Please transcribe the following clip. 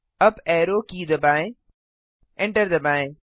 UP arrow key दबाएँ enter दबाएँ